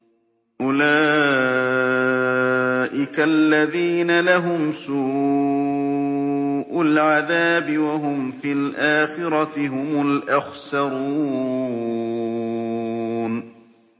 أُولَٰئِكَ الَّذِينَ لَهُمْ سُوءُ الْعَذَابِ وَهُمْ فِي الْآخِرَةِ هُمُ الْأَخْسَرُونَ